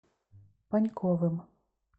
паньковым